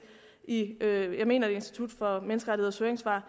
i jeg mener det er institut for menneskerettigheders høringssvar